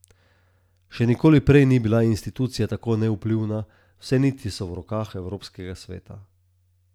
Še nikoli prej ni bila institucija tako nevplivna, vse niti so v rokah evropskega sveta.